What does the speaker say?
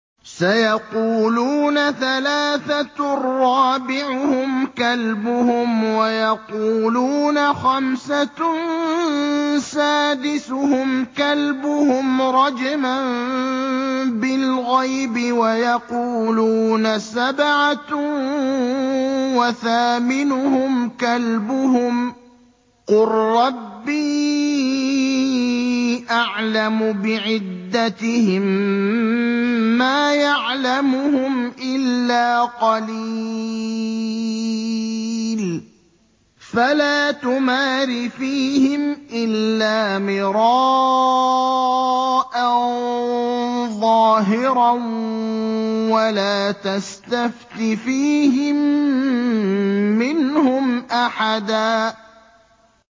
سَيَقُولُونَ ثَلَاثَةٌ رَّابِعُهُمْ كَلْبُهُمْ وَيَقُولُونَ خَمْسَةٌ سَادِسُهُمْ كَلْبُهُمْ رَجْمًا بِالْغَيْبِ ۖ وَيَقُولُونَ سَبْعَةٌ وَثَامِنُهُمْ كَلْبُهُمْ ۚ قُل رَّبِّي أَعْلَمُ بِعِدَّتِهِم مَّا يَعْلَمُهُمْ إِلَّا قَلِيلٌ ۗ فَلَا تُمَارِ فِيهِمْ إِلَّا مِرَاءً ظَاهِرًا وَلَا تَسْتَفْتِ فِيهِم مِّنْهُمْ أَحَدًا